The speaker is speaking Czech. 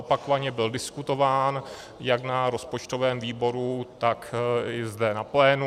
Opakovaně byl diskutován jak na rozpočtovém výboru, tak i zde na plénu.